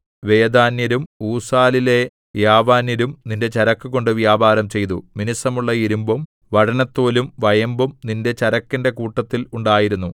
വെദാന്യരും ഊസാലിലെ യാവാന്യരും നിന്റെ ചരക്കുകൊണ്ട് വ്യാപാരം ചെയ്തു മിനുസമുള്ള ഇരിമ്പും വഴനത്തോലും വയമ്പും നിന്റെ ചരക്കിന്റെ കൂട്ടത്തിൽ ഉണ്ടായിരുന്നു